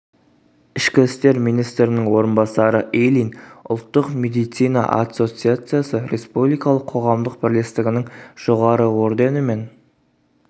ішкі істер министрінің орынбасары ильин ұлттық медицина ассоциациясы республикалық қоғамдық бірлестігінің жоғары орденімен